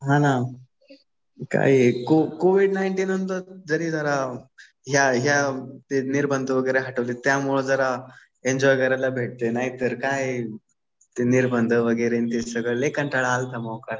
हा ना. काय हे कोविड नाईंटीन नंतर तरी जरा ह्या निर्बंध वगैरे हटवले. त्यामुळे जरा एन्जॉय करायला भेटलं. नाहीतर काय निर्बंध वगैरे लय कंटाळा आलता मोकार.